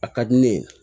A ka di ne ye